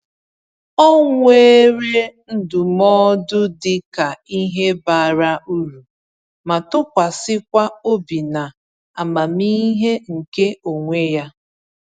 Ọ weere ndụmọdụ dịka ihe bara uru, ma tụkwasịkwa obi na amamihe nke onwe ya.